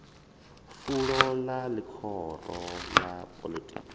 fulo ḽa ḽihoro ḽa poḽotiki